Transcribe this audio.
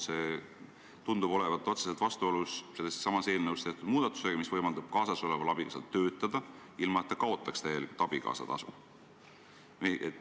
See tundub olevat otseselt vastuolus selles samas eelnõus tehtud muudatusega, mis võimaldab kaasasoleval abikaasal töötada, ilma et ta abikaasatasu täielikult kaotaks.